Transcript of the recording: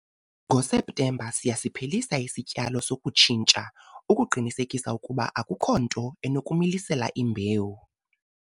NgoSeptemba siyasiphelisa isityalo sokutshintsha ukuqinisekisa ukuba akukho nto enokumilisela imbewu.